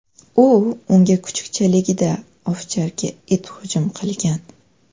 U unga kuchukchaligida ovcharka it hujum qilgan.